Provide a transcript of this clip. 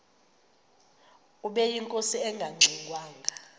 ubeyinkosi engangxe ngwanga